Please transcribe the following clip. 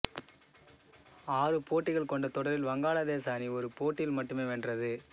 ஆறு போட்டிகள் கொண்ட தொடரில் வங்காளதேச அணி ஒரு போட்டியில் மட்டுமே வென்றது